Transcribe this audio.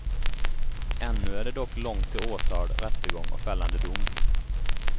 Ännu är det dock långt till åtal, rättegång och fällande dom.